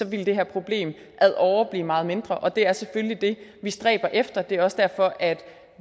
ville det her problem ad åre blive meget mindre og det er selvfølgelig det vi stræber efter det er også derfor at